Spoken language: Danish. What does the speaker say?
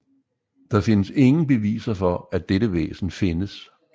Der findes ingen beviser for at dette væsen findes